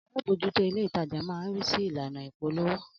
Alábòójútó ilé ìtajà máa ń ri si ìlànà ìpolówó